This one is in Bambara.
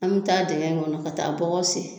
An bi taa dɛngɛn in kɔnɔ ka taa bɔgɔ sen